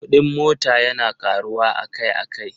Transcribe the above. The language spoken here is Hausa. Kuɗin mota yana ƙaruwa akai-akai.